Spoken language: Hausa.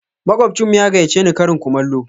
Makwabcinmu ya gayyace ni karin kumallo.